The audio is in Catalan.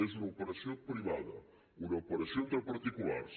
és una operació privada una operació entre particulars